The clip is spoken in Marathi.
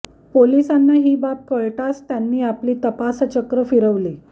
पोलिसांना ही बाब कळताच त्यांनी आपली तपासचक्र फिरवली